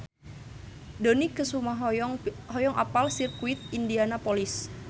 Dony Kesuma hoyong apal Sirkuit Indianapolis